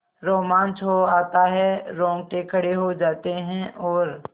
रोमांच हो आता है रोंगटे खड़े हो जाते हैं और